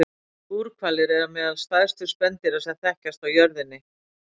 Búrhvalir eru meðal stærstu spendýra sem þekkjast á jörðinni.